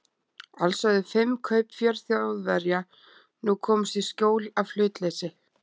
Alls höfðu fimm kaupför Þjóðverja nú komist í skjól af hlutleysi